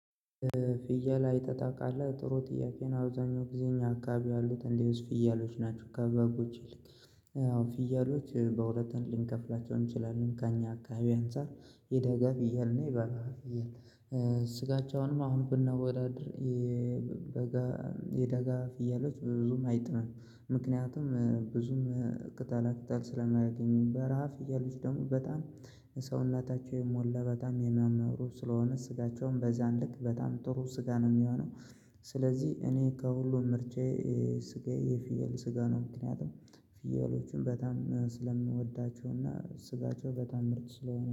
ፍየል አይተህ ታውቃለህ ጥሩ ጥያቄ ነው አብዛኛው ጊዜ እኛ አካባቢ ያሉት እንዲህ ውስጥ ፍየሎች ናቸው ከበጎች ይልቅ አዎ ፍየሎች በሁለት ልንከፍላቸው እንችላለን ከእኛ አካባቢ አንፃር የደጋ ፍየል እና የበረሃ ፍየል ስጋቻውንም አሁን ብናወዳድር የደጋ ፍየሎች ብዙም አይጥምም ምክንያቱም ብዙም ቅጠላ ቅጠል ስለማያገኙ በረሃ ፍየሊት ደግሞ በጣም ሰውነታቸው የሞላ በጣም የማመሩ ስለሆነ ስጋቸውም በዚያን ልክ በጣም ጥሩ ስጋ ነው የሚሆነው ስለዚህ እኔ ከሁሉም ምርጫየ ስጋዬ የፍየል ስጋ ነው ምክንያቱም ፍየሎቹም በጣም ስለምወዳቸውና ስጋቸው በጣም ምርጥ ስለሆነ ነው።